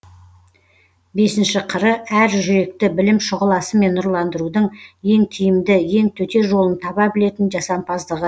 бесінші қыры әр жүректі білім шұғыласымен нұрландырудың ең тиімді ең төте жолын таба білетін жасампаздығы